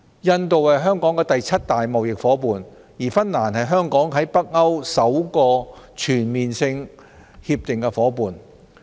印度是香港第七大貿易夥伴，而芬蘭則是香港在北歐首個全面性協定夥伴。